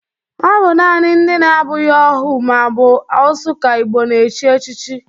Ọ bụ nanị ndị na-abụghị ohu ma ọ bụ osu ka Igbo na-echi echichi